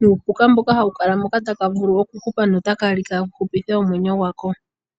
nuupuka mboka hawu kala moka taka vulu okuhupa notaka li ka hupithe omwenyo gwako.